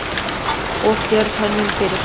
Of djörf hönnun fyrir suma?